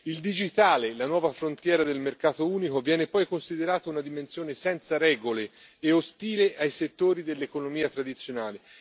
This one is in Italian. Il digitale, la nuova frontiera del mercato unico, viene poi considerato una dimensione senza regole e ostile ai settori dell'economia tradizionale.